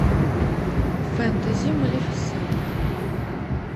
фэнтези малефисента